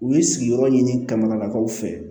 U ye sigiyɔrɔ ɲini kamanakaw fɛ